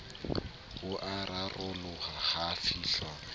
bo a raroloha ho fihlwa